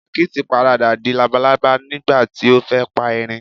Akítì paradà di labalábá nígbàti o fẹ́ pa eerin